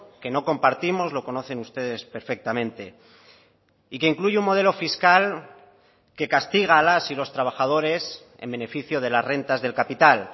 que no compartimos lo conocen ustedes perfectamente y que incluye un modelo fiscal que castiga a las y los trabajadores en beneficio de las rentas del capital